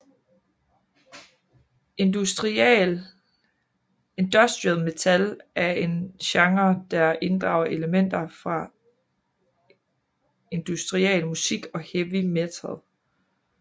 Industrial metal er en genre der inddrager elementer fra industrial musik og heavy metal